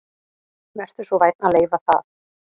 Vertu svo vænn að leyfa það